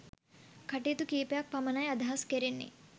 කටයුතු කීපයක් පමණයි අදහස් කෙරෙන්නේ